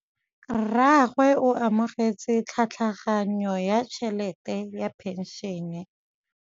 Rragwe o amogetse tlhatlhaganyô ya tšhelête ya phenšene.